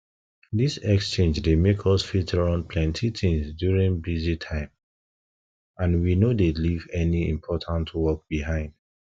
this exchange dey make us fit run plenty things during busy time and we no dey leave any important work behind